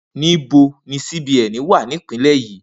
Nibo ni CBN wa ni ipinle yii?